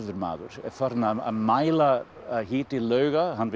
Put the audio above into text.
maður er farinn að mæla hita lauga hann vill